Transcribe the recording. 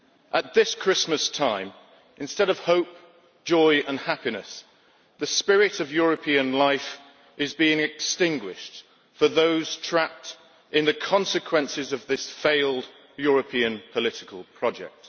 At this Christmas time, instead of hope, joy and happiness, the spirit of European life is being extinguished for those trapped in the consequences of this failed European political project.